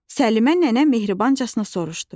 Səlimə nənə mehribanca soruşdu.